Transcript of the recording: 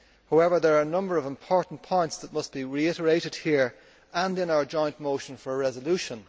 However, there are a number of important points that must be reiterated here and in our joint motion for a resolution.